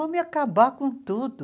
Vamos ir acabar com tudo!